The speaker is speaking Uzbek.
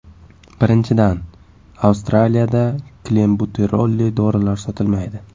Birinchidan, Astraliyada klenbuterolli dorilar sotilmaydi.